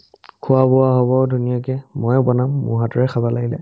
খোৱা-বোৱা হ'ব ধুনীয়াকে ময়ে বনাম মোৰ হাতেৰে খাবা লাগিলে